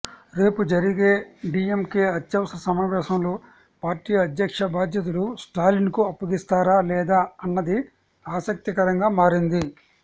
రేపు జరిగే డీఎంకే అత్యవసర సమావేశంలో పార్టీ అధ్యక్ష బాధ్యతలు స్టాలిన్ కు అప్పగిస్తారా లేదా అన్నది ఆసక్తికరంగా మారింది